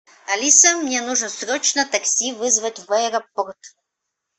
алиса мне нужно срочно такси вызвать в аэропорт